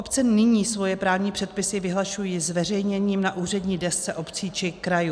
Obce nyní svoje právní předpisy vyhlašují zveřejněním na úřední desce obcí či krajů.